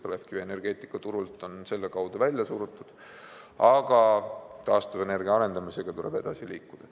Põlevkivi on energeetikaturult selle kaudu välja surutud, aga taastuvenergia arendamisega tuleb edasi liikuda.